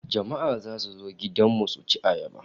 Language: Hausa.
Jama'a zasu zo gudan mu suci ayaba